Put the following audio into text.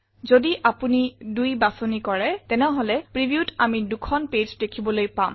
যদি আমি ২ বাছনি কৰো তেনেহলে previewত আমি ২খন পেজ দেখিবলৈ পাম